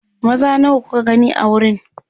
maza nawa kuka gani a wurin